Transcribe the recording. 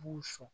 B'u sɔn